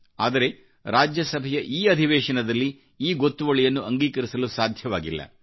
ಆದರೆ ರಾಜ್ಯಸಭೆಯ ಈ ಅಧಿವೇಶನದಲ್ಲಿ ಈ ಗೊತ್ತುವಳಿಯನ್ನು ಅಂಗೀಕರಿಸಲು ಸಾಧ್ಯವಾಗಿಲ್ಲ